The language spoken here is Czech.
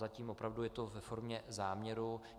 Zatím opravdu je to ve formě záměru.